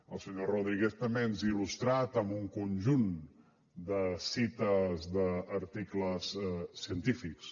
el senyor rodríguez també ens ha il·lustrat amb un conjunt de cites d’articles científics